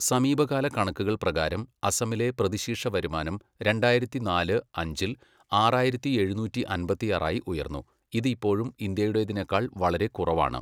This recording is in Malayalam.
സമീപകാല കണക്കുകൾ പ്രകാരം, അസമിലെ പ്രതിശീർഷ വരുമാനം രണ്ടായിരത്തിനാല്, അഞ്ചിൽ ആറായിരത്തി എഴുന്നൂറ്റി അമ്പത്തിയാറായി ഉയർന്നു, ഇത് ഇപ്പോഴും ഇന്ത്യയുടേതിനേക്കാൾ വളരെ കുറവാണ്.